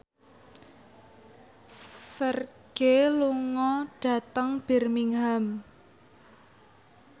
Ferdge lunga dhateng Birmingham